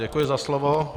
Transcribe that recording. Děkuji za slovo.